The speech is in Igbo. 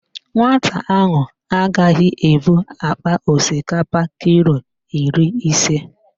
Nwata ahụ agaghị ebu akpa osikapa kilo iri ise.